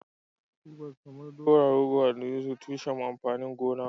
Tubers kamar dowa, rogo da dankali sune tushen amfanin gona.